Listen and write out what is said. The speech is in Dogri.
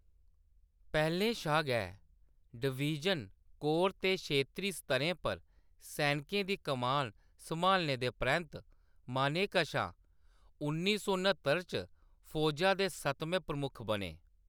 पैह्‌‌‌लें शा गै डिवीजन, कोर ते क्षेत्री स्तरें पर सैनकें दी कमान सम्हालने दे परैंत्त, मानेकशा उन्नी सौ न्हत्तर च फौजा दे सतमें प्रमुख बने।